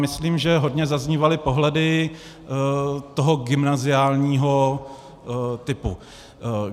Myslím, že hodně zaznívaly pohledy toho gymnaziálního typu.